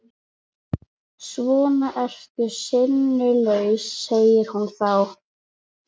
Svona ertu sinnulaus, segir hún þá.